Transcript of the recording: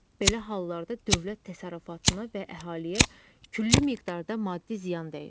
Belə hallarda dövlət təsərrüfatına və əhaliyə külli miqdarda maddi ziyan dəyir.